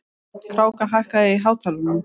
Kráka, hækkaðu í hátalaranum.